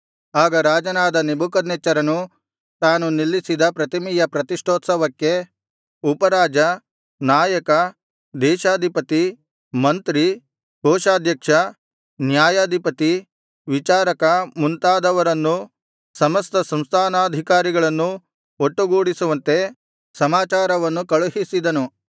ಆಗ ರಾಜನಾದ ನೆಬೂಕದ್ನೆಚ್ಚರನು ತಾನು ನಿಲ್ಲಿಸಿದ ಪ್ರತಿಮೆಯ ಪ್ರತಿಷ್ಠೋತ್ಸವಕ್ಕೆ ಉಪರಾಜ ನಾಯಕ ದೇಶಾಧಿಪತಿ ಮಂತ್ರಿ ಕೋಶಾಧ್ಯಕ್ಷ ನ್ಯಾಯಾಧಿಪತಿ ವಿಚಾರಕ ಮುಂತಾದವರನ್ನೂ ಸಮಸ್ತ ಸಂಸ್ಥಾನಾಧಿಕಾರಿಗಳನ್ನೂ ಒಟ್ಟುಗೂಡಿಸುವಂತೆ ಸಮಾಚಾರವನ್ನು ಕಳುಹಿಸಿದನು